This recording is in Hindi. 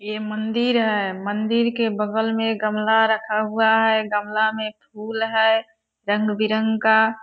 ये मंदिर है मंदिर के बगल में गमला रखा हुआ है गमला में फुल है रंग-बिरंग का।